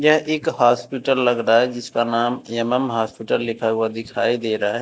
यह एक हॉस्पिटल लग रहा है जिसका नाम एम.एम. हॉस्पिटल लिखा हुआ दिखाई दे रहा है।